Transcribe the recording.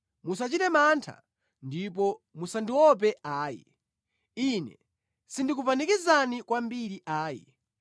Musachite mantha ndipo musandiope ayi, Ine sindikupanikizani kwambiri ayi.